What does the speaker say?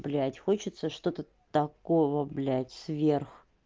блядь хочется что-то такого блядь сверх